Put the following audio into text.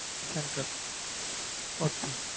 central okay